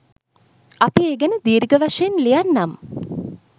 අපි ඒ ගැන දීර්ඝ වශයෙන් ලියන්නම්.